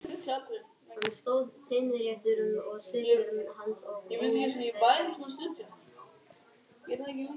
Hann stóð teinréttur og svipur hans var ógnvekjandi.